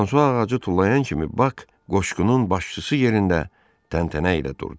Fransua ağacı tullayan kimi Bax qoşqunun başçısı yerində təntənə ilə durdu.